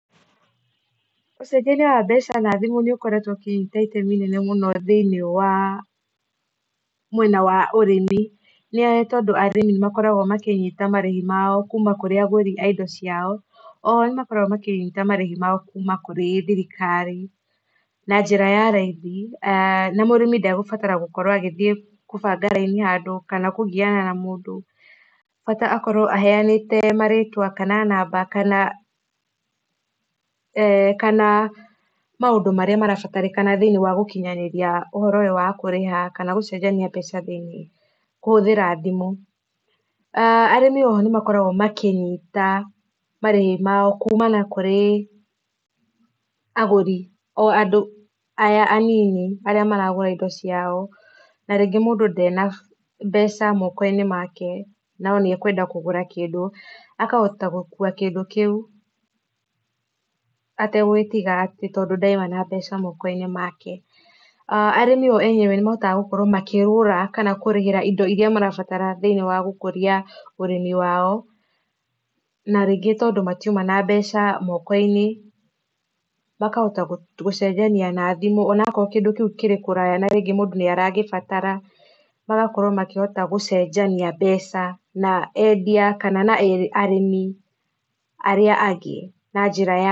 Ũcenjania wa mbeca na thimũ nĩ ũkoretwo ũkĩnyita itemi inene mũno thĩinĩ wa mwena wa ũrĩmi nĩ ũndũ wa ũrĩmĩ nĩ tondũ arĩmi makoragwo makĩnyita marĩhi mao kũma kũrĩ agũri aindo cio o, ono nĩmakoragwo makĩnyita ĩndo ciao kũma kũrĩ thirikari na njĩra ya raithi na mũrĩmi ndagũbatara gũkorwo agĩthiĩ kũara raini handũ kana kũgiana na mũndũ bata akorwo aheanĩte marĩtwa kana namba kana eeh kana maũndũ marĩa marabatarĩkana thĩinĩ wagũkinyanĩria ũhoro ũyũ wa kũrĩha kana gũcenjania mbeca thĩinĩ wa kũhũthira thimũ aah arĩmi oho nĩmakoragwo makĩnyita marĩhi mao kũmana kũrĩ agũri o andũ aya a nini arĩa maragũra indo cĩo na rĩngĩ mũndũ nde na mbeca mokoinĩ make no nĩ ekwenda kũgũra kĩndũ ahatota gũkũa kĩndũ kiu ategũtĩga atĩ to ndarĩ na mbeca mokoinĩ make arĩmi o enyewe nĩmahotaga gũkorwo makĩgũra kana kũrĩhira indo irĩa marabatara thĩinĩ wa gũkũria ũrĩmi wao na rĩngĩ to matiũma na mbeca moko inĩ makahota gũcenjania na thimũ ona akorwo kĩndũ kĩu gĩ kũraya na rĩngĩ mũndũ nĩ aragĩbatara magakĩhota magĩcenjania mbeca na endia kana na arĩmi aria angĩ na njĩra ya.